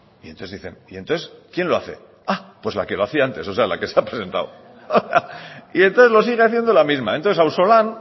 y entonces dicen y entonces quién lo hace ah pues la que lo hacía antes o sea la que se ha presentado y entonces lo sigue haciendo la misma entonces ausolan